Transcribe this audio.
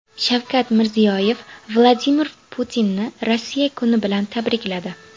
Shavkat Mirziyoyev Vladimir Putinni Rossiya kuni bilan tabrikladi.